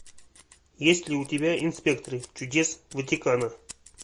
есть ли у тебя инспекторы чудес ватикана